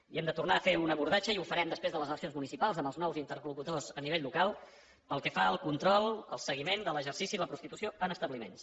i hem de tornar a fer un abordatge i ho farem després de les eleccions municipals amb els nous interlocutors a nivell local pel que fa al control al seguiment de l’exercici de la prostitució en establiments